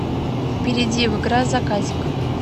перейди в игра заказик